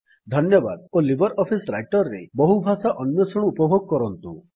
ଧନ୍ୟବାଦ ଓ LibreOffice Writer ରେ ବହୁ ଭାଷା ଅନ୍ୱେଷଣ ଉପଭୋଗ କରନ୍ତୁ